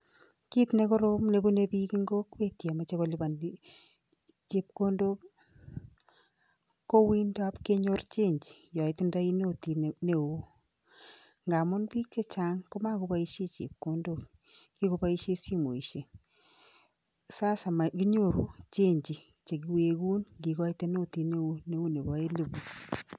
Kiit ne korom nebune piik ing kokwet yemoche kolipan chepkondok ii, ko uindab kenyor chenji ya itindoi notit ne oo, ngamun piik che chang koma koboisie chepkondok, kikoboisie simoisiek, sasa makinyoru chenji che kiwekun ngikoite notit neo neu nebo eliput.